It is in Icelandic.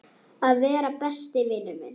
Að vera besti vinur minn.